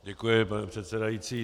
Děkuji, pane předsedající.